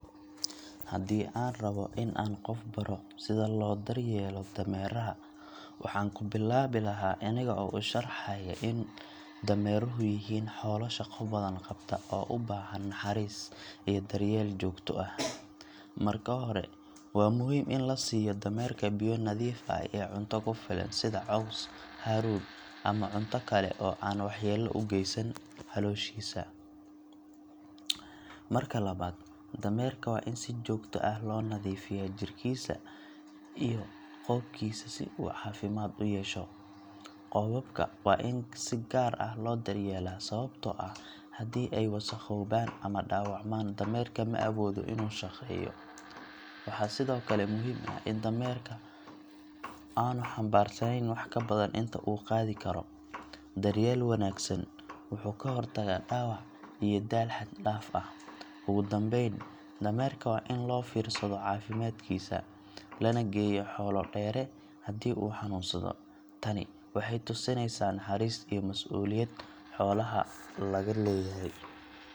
Haddii aan rabbo in aan qof baro sida loo daryeelo dameeraha, waxaan ku bilaabi lahaa aniga oo u sharxaya in dameeruhu yihiin xoolo shaqo badan qabta oo u baahan naxariis iyo daryeel joogto ah. Marka hore, waa muhiim in la siiyo dameerka biyo nadiif ah iyo cunto ku filan sida caws, haruur, ama cunto kale oo aan waxyeello u geysanayn calooshiisa. Marka labaad, dameerka waa in si joogto ah loo nadiifiyaa jirkiisa iyo qoobkiisa si uu caafimaad u yeesho. Qoobabka waa in si gaar ah loo daryeelaa, sababtoo ah haddii ay wasakhoobaan ama dhaawacmaan, dameerka ma awoodo inuu shaqeeyo. Waxaa sidoo kale muhiim ah in dameerka aanu xambaarsanayn wax ka badan inta uu qaadi karo. Daryeel wanaagsan wuxuu ka hortagaa dhaawac iyo daal xad-dhaaf ah. Ugu dambayn, dameerka waa in loo fiirsado caafimaadkiisa, lana geeyo xoolo-dheere haddii uu xanuunsado. Tani waxay tusinaysaa naxariis iyo mas’uuliyad xoolaha laga leeyahay.